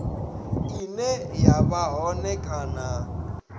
ine ya vha hone kana